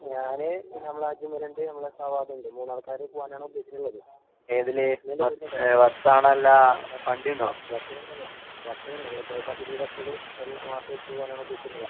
ഞാന് പിന്നെ നമ്മളെ അജ്‌മൽ ഇണ്ട്, നമ്മളെ സവാബുണ്ട്. മൂന്നാൾക്കാര് പോവാനാണ് ഉദ്ദേശിച്ചിട്ടുള്ളത്. നീയെന്താ വരുന്നുണ്ടോ? അഹ് ബസ്സ് ബസ്സ് ബസ്സിലെന്നെ പൂവാം. ബസ്സിന് നമ്മളെ കെഎസ്ആർടിസി ബസ്സില് എല്ലാമാസോം പോവാനുള്ള ബസ്സുണ്ടല്ലോ?